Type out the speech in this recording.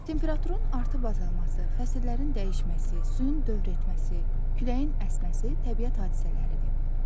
Temperaturun artıb-azalması, fəsillərin dəyişməsi, suyun dövr etməsi, küləyin əsməsi təbiət hadisələridir.